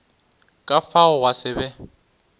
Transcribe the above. ka fao gwa se be